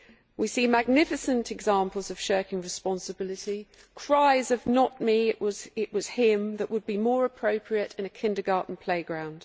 We see magnificent examples of shirking responsibility, cries of not me, it was him' that would be more appropriate in a kindergarten playground.